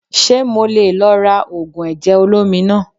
Ṣé mo leè lò lára ògùn ẹ̀jẹ̀ olómi naa